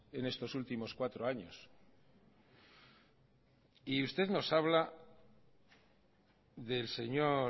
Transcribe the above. en estos últimos cuatro años y usted nos habla del señor